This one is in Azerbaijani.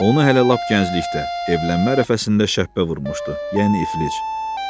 Onu hələ lap gənclikdə, evlənmə ərəfəsində şəppə vurmuşdu, yəni iflic.